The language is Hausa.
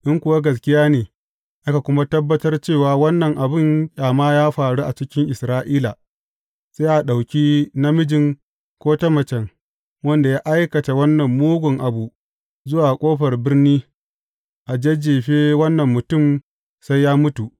In kuwa gaskiya ne, aka kuma tabbatar cewa wannan abin ƙyama ya faru a cikin Isra’ila, sai a ɗauki namijin, ko ta mace wanda ya aikata wannan mugun abu zuwa ƙofar birni, a jajjefe wannan mutum sai ya mutu.